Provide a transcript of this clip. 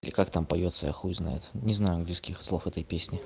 и как там поётся я хуй знает не знаю английских слов этой песни